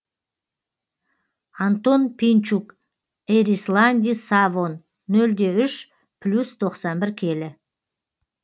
антон пинчук эрисланди савон нөл де үш плюс тоқсан бір келі